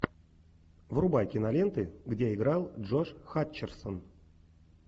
врубай киноленты где играл джош хатчерсон